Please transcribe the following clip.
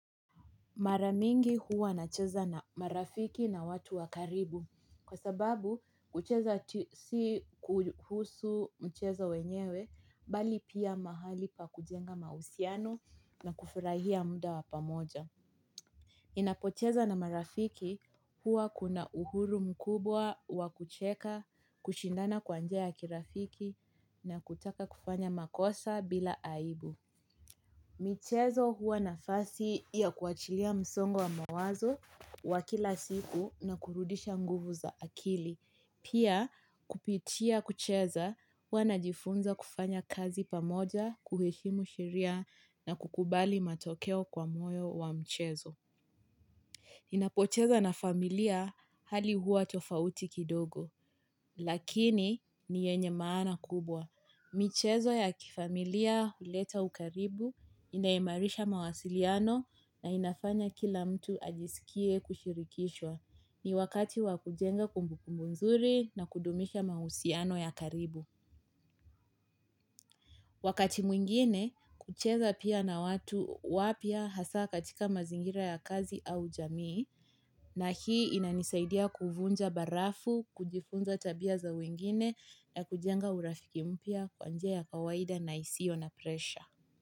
Mara mingi huwa nacheza na marafiki na watu wa karibu. Kwa sababu, kucheza si kuhusu mchezo wenyewe mbali pia mahali pa kujenga mahusiano na kufurahia muda wa pamoja. Ninapocheza na marafiki huwa kuna uhuru mkubwa wakucheka, kushindana kwa njia ya kirafiki na kutaka kufanya makosa bila aibu. Michezo hua nafasi ya kuachilia msongo wa mawazo wa kila siku na kurudisha nguvu za akili. Pia kupitia kucheza huwa najifunza kufanya kazi pamoja, kuheshimu sheria na kukubali matokeo kwa moyo wa mchezo. Ninapocheza na familia, hali huwa tofauti kidogo, lakini ni yenye maana kubwa. Michezo ya kifamilia huleta ukaribu, inaimarisha mawasiliano na inafanya kila mtu ajisikie kushirikishwa. Ni wakati wakujenga kumbuku nzuri na kudumisha mahusiano ya karibu. Wakati mwingine, kucheza pia na watu wapya hasa katika mazingira ya kazi au jamii na hii inanisaidia kuvunja barafu, kujifunza tabia za wengine na kujenga urafiki mpya kwa njia ya kawaida na isio na presha.